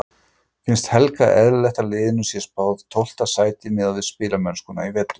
Finnst Helga eðlilegt að liðinu sé spáð tólfta sæti miðað við spilamennskuna í vetur?